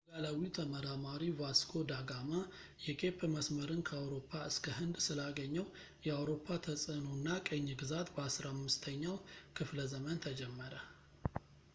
ፖርቱጋላዊው ተመራማሪ ቫስኮ ዳ ጋማ የኬፕ መስመርን ከአውሮፓ እስከ ህንድ ስላገኘው የአውሮፓ ተጽዕኖ እና ቅኝ ግዛት በ 15 ኛው ክፍለ ዘመን ተጀመረ